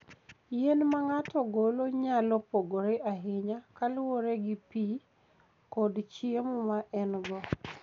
Yien ma ng'ato golo nyalo pogore ahinya kaluwore gi pi kod chiemo ma en-go.